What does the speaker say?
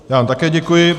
Já vám také děkuji.